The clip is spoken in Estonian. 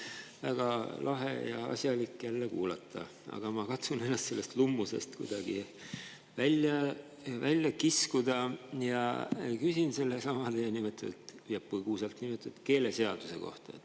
Oli väga lahe ja asjalik jälle kuulata, aga ma katsun ennast sellest lummusest kuidagi välja kiskuda ja küsin sellesama põgusalt nimetatud keeleseaduse kohta.